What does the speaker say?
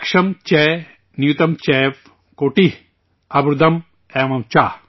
لکشم چ نیوتم چیو، کوٹیہ اربودم ایو چ